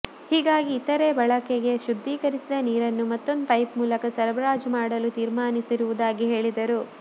ಹೀಗಾಗಿ ಇತರೆ ಬಳಕೆಗೆ ಶುದ್ದೀಕರಿಸಿದ ನೀರನ್ನು ಮತ್ತೊಂದು ಪೈಪ್ ಮೂಲಕ ಸರಬರಾಜು ಮಾಡಲು ತೀರ್ಮಾನಿಸಿರುವುದಾಗಿ ಹೇಳಿದರು